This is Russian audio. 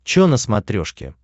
че на смотрешке